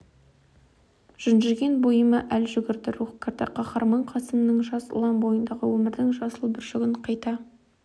жүнжіген бойыма әл жүгірді рух кірді қаһарман қасымның жас ұлан бойындағы өмірдің жасыл бүршігін қайта